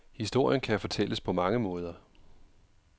Historien kan fortælles på mange måder.